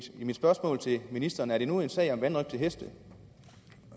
mit spørgsmål til ministeren er det nu en sag om vanrøgt af heste